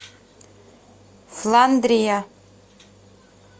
фландрия